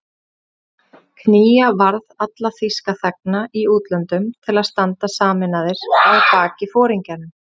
Knýja varð alla þýska þegna í útlöndum til að standa sameinaðir að baki foringjanum